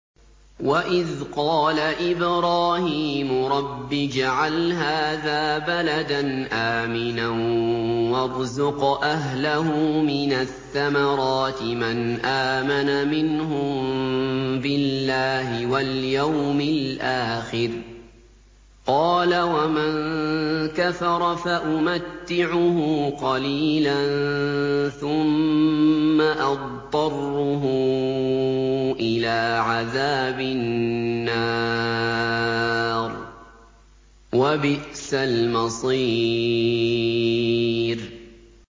وَإِذْ قَالَ إِبْرَاهِيمُ رَبِّ اجْعَلْ هَٰذَا بَلَدًا آمِنًا وَارْزُقْ أَهْلَهُ مِنَ الثَّمَرَاتِ مَنْ آمَنَ مِنْهُم بِاللَّهِ وَالْيَوْمِ الْآخِرِ ۖ قَالَ وَمَن كَفَرَ فَأُمَتِّعُهُ قَلِيلًا ثُمَّ أَضْطَرُّهُ إِلَىٰ عَذَابِ النَّارِ ۖ وَبِئْسَ الْمَصِيرُ